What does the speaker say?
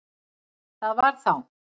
Það var þá